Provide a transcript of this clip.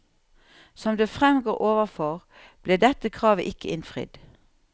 Som det fremgår overfor, ble dette kravet ikke innfridd.